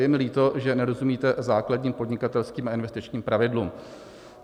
Je mi líto, že nerozumíte základním podnikatelským a investičním pravidlům.